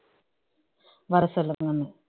வர சொல்லுங்கன்னு